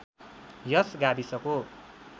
यस गाविसको